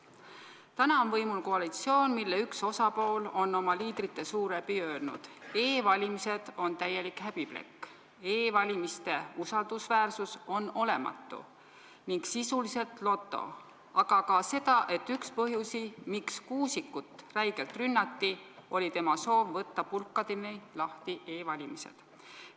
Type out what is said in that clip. Täna on võimul koalitsioon, mille üks osapool on oma liidrite suu läbi öelnud, et e-valimised on täielik häbiplekk, e-valimiste usaldusväärsus on olematu ning see on sisuliselt loto, aga ka seda, et üks põhjusi, miks Kuusikut räigelt rünnati, oli tema soov võtta pulkadeni lahti e-valimised.